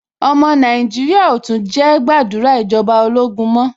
Ọmọ Nàìjíríà ò tún jẹ́ gbàdúrà ìjọba ológun mọ́.